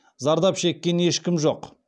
зардап шеккен ешкім жоқ